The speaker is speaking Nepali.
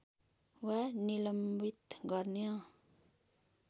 वा निलम्बित गर्न